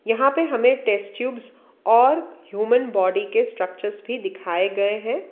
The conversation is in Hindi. यहां पे हमें टेस्ट ट्यूब्स और ह्यूमन बॉडी के स्ट्रक्चर्स भी दिखाए गए हैं।